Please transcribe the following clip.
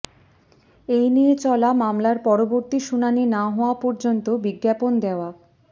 এই নিয়ে চলা মামলার পরবর্তী শুনানি না হওয়া পর্যন্ত বিজ্ঞাপন দেওয়া